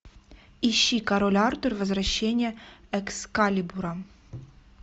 ищи король артур возвращение экскалибура